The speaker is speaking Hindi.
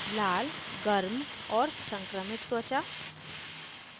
लाल warm और संक्रमित त्वचा